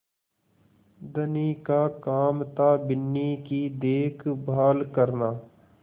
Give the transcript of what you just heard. धनी का काम थाबिन्नी की देखभाल करना